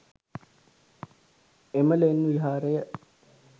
එම ලෙන් විහාරය